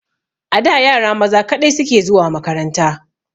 A da yara maza kaɗai suke zuwa makaranta.